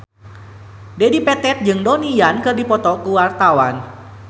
Dedi Petet jeung Donnie Yan keur dipoto ku wartawan